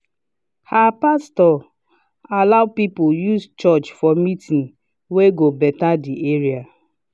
her pastor allow people use church for meeting wey go better the area